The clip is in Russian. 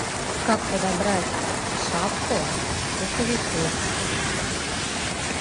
как подобрать шапку к пуховику